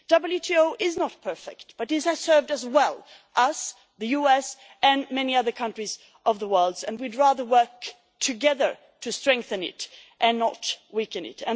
WTO is not perfect, but it has served us well us, the US and many other countries of the world and we would rather work together to strengthen it and not weaken